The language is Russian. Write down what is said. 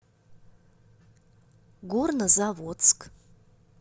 горнозаводск